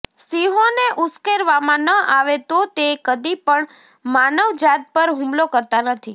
સિંહોને ઉશ્કેરવામાં ન આવે તો તે કદી પણ માનવજાત પર હુમલો કરતા નથી